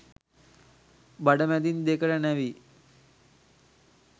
බඩ මැදින් දෙකට නැවී